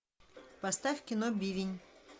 поставь кино бивень